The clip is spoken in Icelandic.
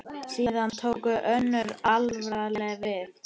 Síðan tók önnur alvara við.